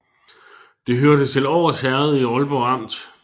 Det hørte til Års Herred i Aalborg Amt